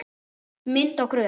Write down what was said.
Mynd og gröf